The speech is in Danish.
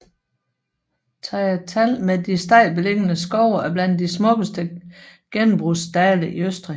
Thayatal med de stejlt beliggende skove er blandt de smukkeste gennembrudsdale i Østrig